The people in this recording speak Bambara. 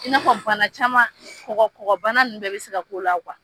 I n'a fɔ bana caman kɔkɔ kɔkɔbana ninnu bɛɛ bɛ se ka k'o la .